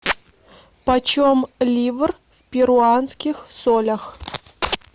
почем ливр в перуанских солях